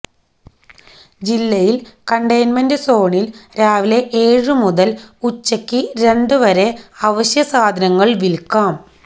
ജില്ലയിൽ കണ്ടെയ്ണൻമെന്റ് സോണിൽ രാവിലെ ഏഴ് മുതൽ ഉച്ചയ്ക്ക് രണ്ട് വരെ അവശ്യ സാധനങ്ങൾ വിൽക്കാം